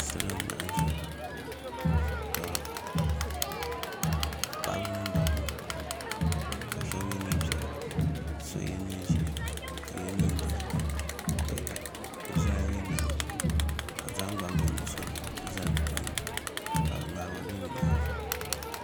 Salo n laɣam ʒɛya paɣaba mini dabba ka shab yɛ neen piɛla ka so yɛ neen ʒiɛ ka so yɛ neen dozim ka zoya yirina di nyaanga ka bi zaŋ gbambihi nuɣso nim n zali bi tooni ka ŋarima bɛ bi nyaanga